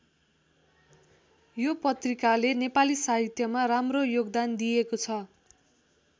यो पत्रिकाले नेपाली साहित्यमा राम्रो योगदान दिएको छ।